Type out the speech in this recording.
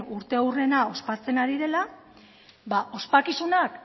urteurrena ospatzen ari dela ba ospakizunak